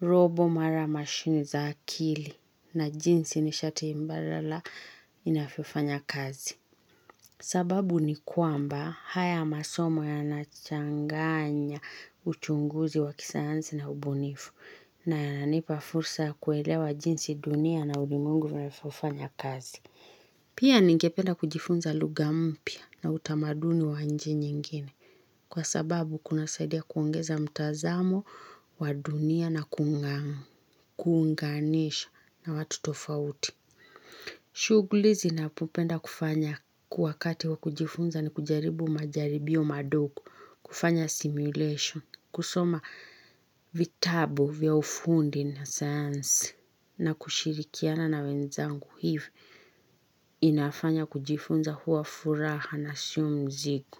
Roboti mara mashini za akili na jinsi nishati mbalala inavyofanya kazi. Sababu ni kwamba haya masomo yanachanganya uchunguzi wa kisayansi na ubunifu. Na yananipa fursa kuelewa jinsi dunia na ulimwengu vanavyofanya kazi. Pia ningependa kujifunza lugha mpya na utamaduni wa nchi nyingine kwa sababu kunasaidia kuongeza mtazamo wa dunia na kuunganisha na watu tofauti. Shughuli ninazopenda kufanya wakati wa kujifunza ni kujaribu majaribio madogo, kufanya simulation, kusoma vitabu vya ufundi na science na kushirikiana na wenzangu hivi inafanya kujifunza huwa furaha na sio mzigo.